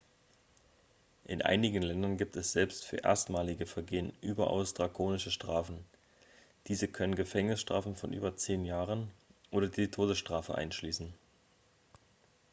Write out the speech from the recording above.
in einigen ländern gibt es selbst für erstmalige vergehen überaus drakonische strafen diese können gefängnisstrafen von über 10 jahren oder die todesstrafe einschließen